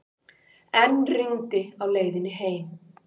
Enn rigndi á leiðinni heim.